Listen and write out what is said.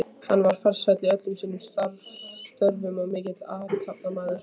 Hann var farsæll í öllum sínum störfum og mikill athafnamaður.